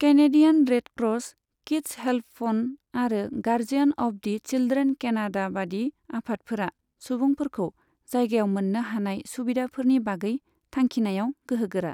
Canadian red cross, kids help phone, आरो guardian of the children Canada बादि आफादफोरा सुबुंफोरखौ जायगायाव मोननो हानाय सुबिदाफोरनि बागै थांखिनायाव गोहोगोरा।